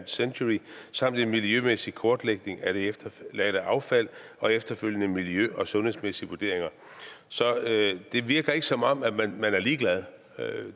century samt en miljømæssig kortlægning af det efterladte affald og efterfølgende miljø og sundhedsmæssige vurderinger så det virker ikke som om man er ligeglad